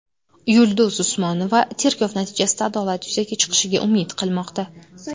Yulduz Usmonova tergov natijasida adolat yuzaga chiqishiga umid qilmoqda.